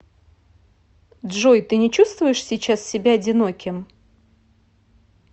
джой ты не чувствуешь сейчас себя одиноким